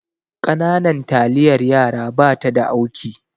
Ƙananan taliyar yaraba ta da auki